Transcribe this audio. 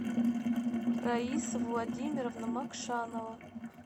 раиса владимировна макшанова